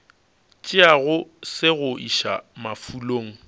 tšeago se go iša mafulong